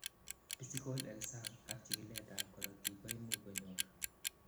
physical exam ak chikilet ab korotik koimuch konyor